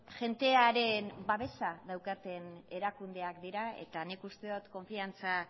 jendearen babesa daukaten erakundeak dira eta nik uste dut konfiantza